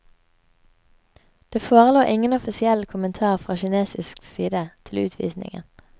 Det forelå ingen offisiell kommentar fra kinesisk side til utvisningen.